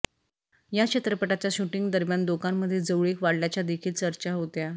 या चित्रपटाच्या शूटिंग दरम्यान दोघांमध्ये जवळीक वाढल्याच्या देखील चर्चा होत्या